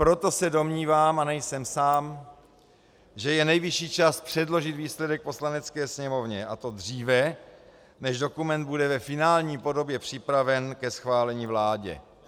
Proto se domnívám, a nejsem sám, že je nejvyšší čas předložit výsledek Poslanecké sněmovně, a to dříve, než dokument bude ve finální podobě připraven ke schválení vládě.